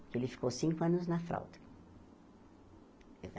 Ele ficou cinco anos na fralda.